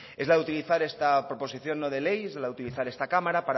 es la de utilizar esta proposición no de ley es la de utilizar esta cámara